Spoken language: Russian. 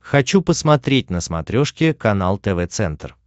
хочу посмотреть на смотрешке канал тв центр